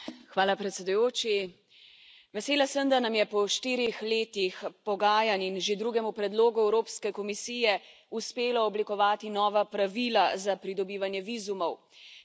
Gospod predsedujoči, vesela sem, da nam je po štirih letih pogajanj in že drugem predlogu Evropske komisije uspelo oblikovati nova pravila za pridobivanje vizumov.